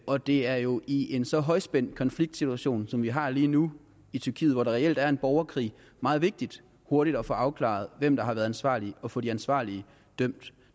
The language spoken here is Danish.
og det er jo i en så højspændt konfliktsituation som vi har lige nu i tyrkiet hvor der reelt er en borgerkrig meget vigtigt hurtigt at få afklaret hvem der har været ansvarlig og få de ansvarlige dømt